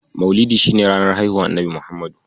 Mauludi shi ne ranar haihuwar Annabi Muhammadu.